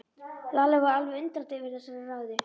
Lalli var alveg undrandi yfir þessari ræðu.